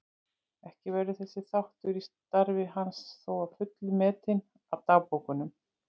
Ekki verður þessi þáttur í starfi hans þó að fullu metinn af dagbókunum.